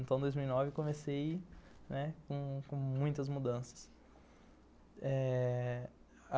Então, em dois mil e nove, comecei com muitas mudanças. Eh...